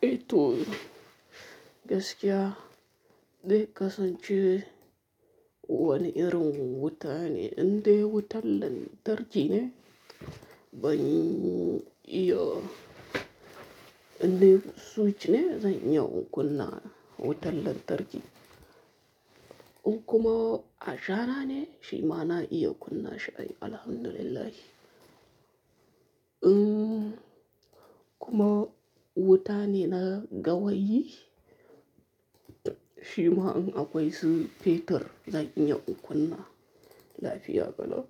Eh to. Gaskiya, dai kasancewar wani irin wuta ne, indai wutar lantarki ne, ban iya indai switch ne zan iya in kunna wutar lantarki. In kuma a jara ne, shima na iya in kunna shi, Alhamdulillah. Uhmn kuma wuta ne na gawayi shima in akwai su fetur zan iya in kunna shi lafiya kalau